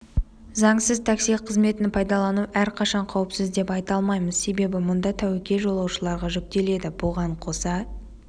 заңсыз такси қызметін пайдалану әрқашан қауіпсіз деп айта алмаймыз себебі мұнда тәуекел жолаушыларға жүктеледі бұған қоса